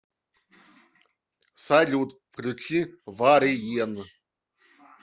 салют включи вариен